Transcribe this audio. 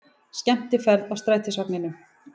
Skemmtiferð í strætisvagninum